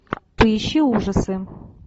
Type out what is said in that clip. поищи ужасы